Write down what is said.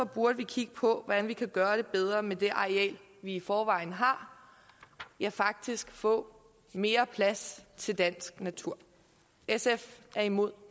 burde vi kigge på hvordan vi kan gøre det bedre med det areal vi i forvejen har ja faktisk få mere plads til dansk natur sf er imod